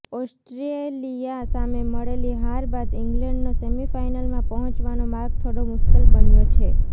Australia સામે મળેલી હાર બાદ ઇંગ્લેન્ડનો સેમીફાઇનલમાં પહોંચવાનો માર્ગ થોડો મુશ્કેલ બન્યો છે